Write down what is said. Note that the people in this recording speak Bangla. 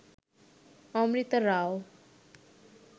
অমৃতা রাও